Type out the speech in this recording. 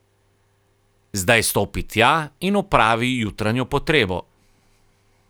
Zdaj stopi tja in opravi jutranjo potrebo.